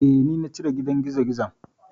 Eh, ni na cire gidan gizogizon.